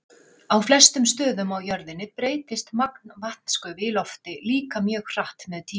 Á flestum stöðum á jörðinni breytist magn vatnsgufu í lofti líka mjög hratt með tíma.